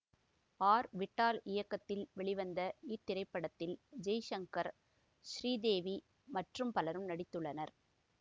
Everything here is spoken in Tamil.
ஆர் விட்டால் இயக்கத்தில் வெளிவந்த இத்திரைப்படத்தில் ஜெய்சங்கர் ஸ்ரீதேவி மற்றும் பலரும் நடித்துள்ளனர்